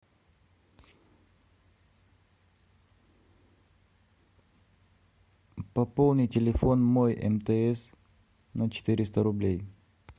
пополни телефон мой мтс на четыреста рублей